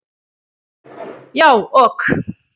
Já, ok